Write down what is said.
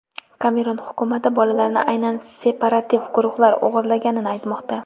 Kamerun hukumati bolalarni aynan separativ guruhlar o‘g‘irlaganini aytmoqda.